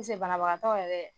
banabagatɔ yɛrɛ